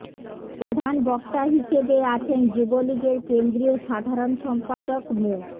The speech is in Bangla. প্রধান বক্তা হিসেবে আছেন যুবলীগের কেন্দ্রীয় সাধারণ সম্পাদক মো